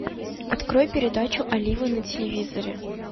открой передачу олива на телевизоре